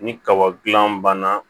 Ni kaba gilan banna